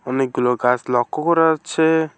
অনেকগুলো গাছ লক্ষ্য করা যাচ্ছে।